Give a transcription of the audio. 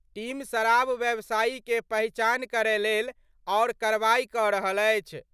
Team शराब व्यवसायी के पहचान करय लेल आओर कार्रवाई क' रहल अछि।